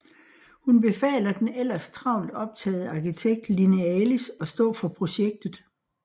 Hun befaler den ellers travlt optagede arkitekt Linealis at stå for projektet